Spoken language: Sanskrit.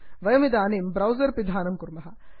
वयमिदानीं ब्रौसर् पिधानं कुर्मः